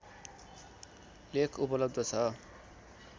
लेख उपलब्ध छ